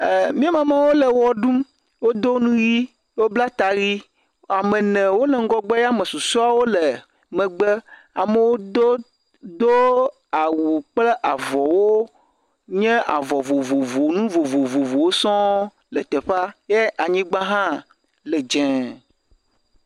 Miamamawo le ɣeɖum, wodo nu ɣi, wobla ta ɣi. Ame ene wole ŋugɔgbe ya amesusuawo wole megbe, amewo do do awu kple avɔwo nye avɔ vovovowo nu vovovowo sɔ̃ le teƒea ye anyighã le dzē.